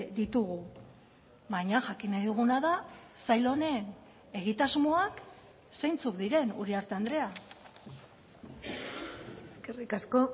ditugu baina jakin nahi duguna da sail honen egitasmoak zeintzuk diren uriarte andrea eskerrik asko